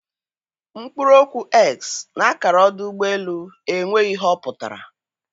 Mkpụrụ okwu 'x' n'akara ọdụ ụgbọ elu enweghị ihe ọ pụtara